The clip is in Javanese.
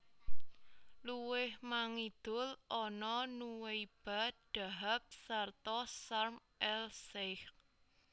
Luwih mangidul ana Nuweiba Dahab sarta Sharm el Sheikh